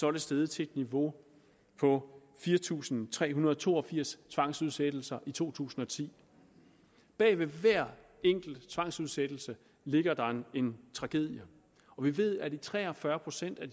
er det steget til et niveau på fire tusind tre hundrede og to og firs tvangsudsættelser i to tusind og ti bag hver enkelt tvangsudsættelse ligger der en tragedie og vi ved at i tre og fyrre procent af